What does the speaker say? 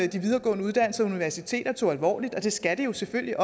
de videregående uddannelser universiteterne tog alvorligt og det skal de jo selvfølgelig